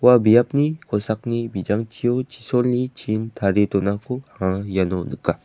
ua biapni kosakni bijangchio chisolni chin tarie donako iano nika.